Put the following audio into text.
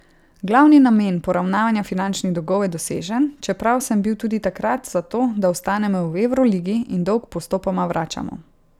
Glavni namen poravnanja finančnih dolgov je dosežen, čeprav sem bil tudi takrat za to, da ostanemo v evroligi in dolg postopoma vračamo.